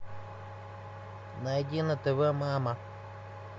найди на тв мама